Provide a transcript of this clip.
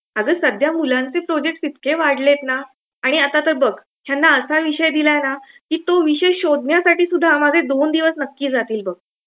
अगं, सध्या मुलांचे प्रोजेक्टस इतके वाढलेत ना आणि आता तर बघ. ह्यांना असा विषय दिलाय ना की तो विषय शोधण्यासाठीसुद्धा माझे दोन दिवस नक्की जातील बघ.